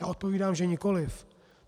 A odpovídám, že nikoliv.